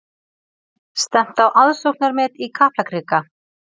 Stefnt á aðsóknarmet í Kaplakrika